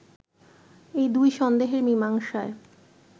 এই দুই সন্দেহের মীমাংসায়